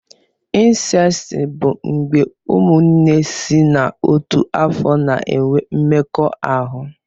Incesti bụ mgbé ụmụnne sị n'ọtu afọ na-enwe mmekọ ahụ.